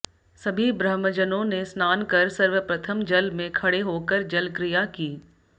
सभी ब्रह्मजनों ने स्नान कर सर्वप्रथम जल में खड़े होकर जलक्रिया की